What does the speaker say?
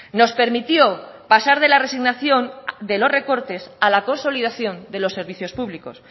nos permitió pasar de la resignación de los recortes a la consolidación de los servicios públicos